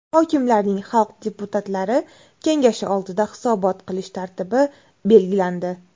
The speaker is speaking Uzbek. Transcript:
Hokimlarning xalq deputatlari kengashi oldida hisobot qilish tartibi belgilandi.